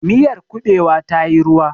miyar kubewa ta yi ruwa